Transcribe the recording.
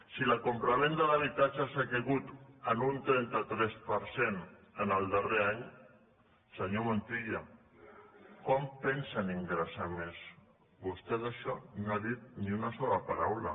si la compravenda d’habitatges ha caigut en un trenta tres per cent en el darrer any senyor montilla com pensen ingressar més vostè d’això no n’ha dit ni una sola paraula